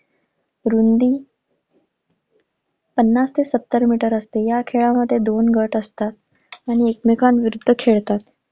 रुंदी पन्नास ते सत्तर मीटर असते. या खेळामध्ये दोन गट असतात आणि एकमेकांविरुद्ध खेळतात.